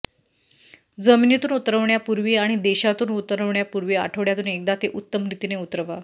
जमिनीतून उतरण्यापूर्वी आणि देशांतून उतरण्यापूर्वी आठवड्यातून एकदा ते उत्तम रीतीने उतरवा